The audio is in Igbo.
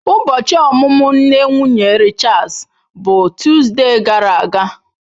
Ụbọchi ọmụmụ nne nwunye Richards bụ Tuzdee gara aga.